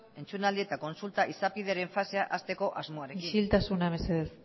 entzunaldi eta kontsulta izapideren fasea hasteko asmoarekin isiltasuna mesedez